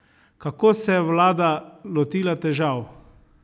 Kako se je vlada lotila težav?